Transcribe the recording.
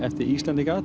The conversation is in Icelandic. Íslendingum